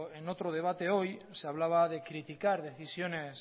en otro debate hoy se hablaba de criticar decisiones